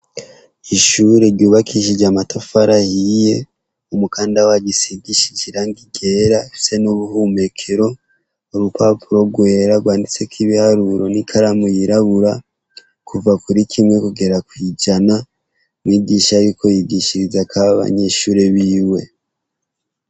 Ishure ryubakishijwe amatafari ahiye umukanda waryo usigishije irangi ryera ufise nubuhumekero nurupapuro rwera rwanditseko ibiharuro nikaramu yirabura kuva kuri kimwe kugera kwijana umwigisha ariko yigishirizako abanyeshure biwe.